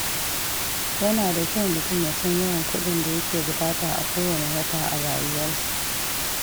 Yana da kyau mutum ya san yawan kuɗin da yake buƙata a kowane wata a rayuwarsa.